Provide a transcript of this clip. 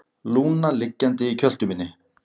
Lúna liggjandi í kjöltu minni.